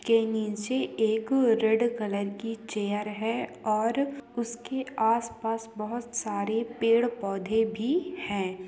इसके नीचे एक रेड कलर की चेयर है ओर उसके आसपास बहोत सारे पेड़ पोधे भी हैं।